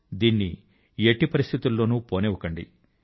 దీన్ని ఎట్టి పరిస్థితి లోను పోనివ్వకండి